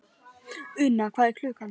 Unna, hvað er klukkan?